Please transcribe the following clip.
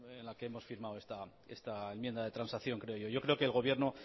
es la que hemos firmado esta enmienda de transacción creo yo yo creo que el gobierno